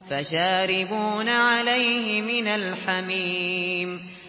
فَشَارِبُونَ عَلَيْهِ مِنَ الْحَمِيمِ